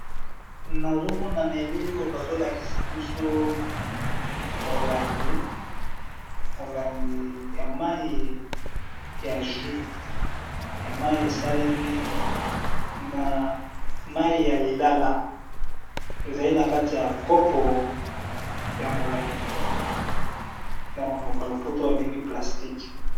Nazo mona na elili oyo bazolakisa biso molangi, molangi ya mayi ya jus ya mayi esalemi na mayi ya lilala ezali na kati ya kopo ya molangi na monoko ya lopoto babengi plastique.